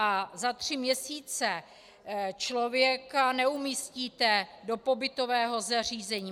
A za tři měsíce člověka neumístíte do pobytového zařízení.